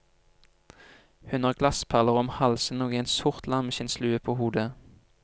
Hun har glassperler om halsen og en sort lammeskinnslue på hodet.